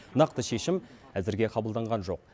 нақты шешім әзірге қабылданған жоқ